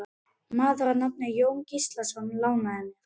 Maður að nafni Jón Gíslason lánaði mér.